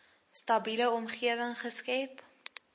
stabiele omgewing geskep